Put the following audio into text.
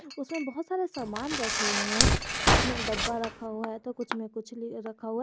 उसमें बहोत सारे सामान रखे हुए हैं कुछ मैं डब्बा रखा हुआ है तो कुछ में कुछ नहीं रखा हुआ--